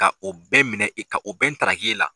Ka o bɛɛ minɛ i ka o bɛɛ ntaaraki e la.